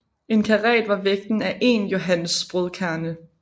En karat var vægten af én johannesbrødkerne